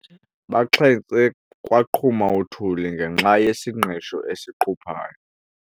Baxhentse kwaqhuma uthuli ngenxa yesingqisho esiquphayo.